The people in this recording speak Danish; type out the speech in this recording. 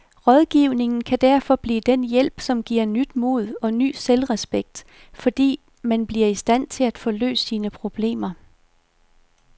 Rådgivningen kan derfor blive den hjælp, som giver nyt mod og ny selvrespekt, fordi man bliver i stand til at få løst sine problemer.